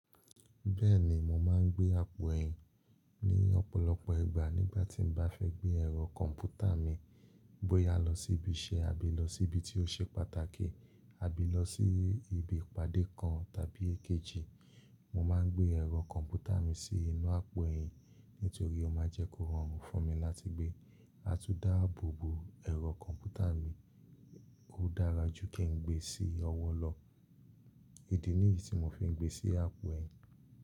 Bẹ́ẹ̀ni, mo máa ń gbé àpò ẹ̀yìn ní ọ̀pọ̀lọpọ̀ ìgbà nígbà tí mo bá fẹ́ gbé ẹ̀rọ kọ̀m̀pútà mi bóyá lọ sí ibi iṣẹ́ àbí lọ sí ibi tí ó ṣe pàtàkì àbí lọ sí ibi ìpàdé kan tàbí èkejì. Mo máa ń gbé ẹ̀rọ kọ̀m̀pútà mi sí inú àpò ẹ̀yìn nítorí ó máa jẹ́ kó rọrùn fún mi láti gbé. A tún dáàbò bo ẹ̀rọ kọ̀m̀pútà mi, ó dára jù kí n gbé sí ọwọ́ lọ. Idi nìyí tí mo fi ń gbé sí àpò ẹ̀yìn.